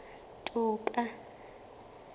toka